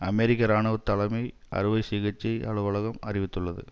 அமெரிக்க இராணுவ தலைமை அறுவை சிகிச்சை அலுவலகம் அறிவித்துள்ளது